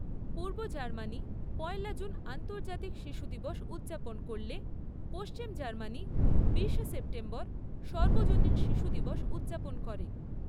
পূর্ব Germany পয়লা June আন্তর্জাতিক শিশু দিবস উদ্‌যাপন করলে, পশ্চিম জার্মানি বিশে সেপ্টেম্বর সার্বজনীন শিশু দিবস উদ্‌যাপন করে।